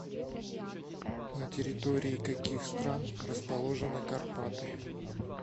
на территории каких стран расположены карпаты